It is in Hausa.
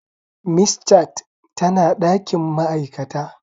Miss Chat tana dakin ma'aikata.